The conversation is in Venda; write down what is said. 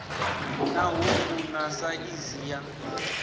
na ṱhungu na saizi ya